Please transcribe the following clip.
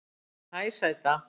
Hæ sæta